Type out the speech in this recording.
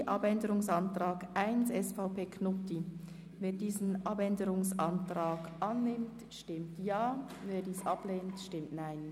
Wer den Antrag Knutti zum Themenblock 10.h annimmt, stimmt Ja, wer diesen ablehnt, stimmt Nein.